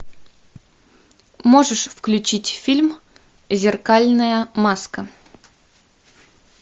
можешь включить фильм зеркальная маска